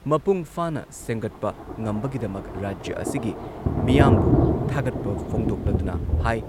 ꯃꯄꯨꯡꯐꯥꯅ ꯁꯦꯝꯒꯠꯄ ꯉꯝꯕꯒꯤꯗꯃꯛ ꯔꯥꯖ꯭ꯌ ꯑꯁꯤꯒꯤ ꯃꯤꯌꯥꯝꯕꯨ ꯊꯥꯒꯠꯄ ꯐꯣꯡꯗꯣꯛꯂꯗꯨꯅ ꯍꯥꯏ